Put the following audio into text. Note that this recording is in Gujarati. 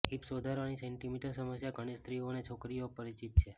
હિપ્સ વધારાની સેન્ટિમીટર સમસ્યા ઘણી સ્ત્રીઓ અને છોકરીઓ પરિચિત છે